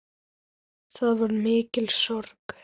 Það var mikil sorg.